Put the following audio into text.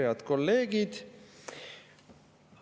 Head kolleegid!